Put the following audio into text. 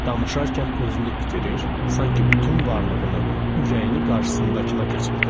Danışarkən özünü itirir, sanki bütün varlığını, ürəyini qarşısındakına keçirirdi.